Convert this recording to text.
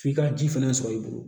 F'i ka ji fɛnɛ sɔrɔ i bolo